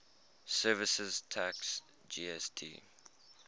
services tax gst